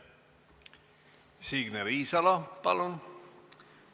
Signe Riisalo, palun!